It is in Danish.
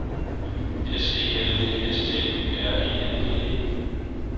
S E L V S T Y R E N D E